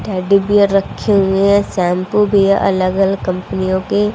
teddy bear रखे हुए है शैंपू भी अलग अलग कंपनियों के--